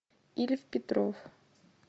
ильф петров